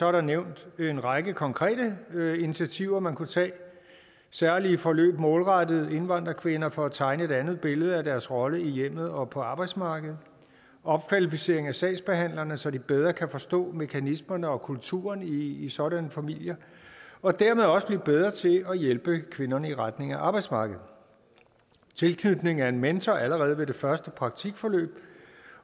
er nævnt en række konkrete initiativer man kunne tage særlige forløb målrettet indvandrerkvinder for at tegne et andet billede af deres rolle i hjemmet og på arbejdsmarkedet opkvalificering af sagsbehandlerne så de bedre kan forstå mekanismerne og kulturen i i sådanne familier og dermed også bliver bedre til at hjælpe kvinderne i retning af arbejdsmarkedet tilknytning af en mentor allerede ved det første praktikforløb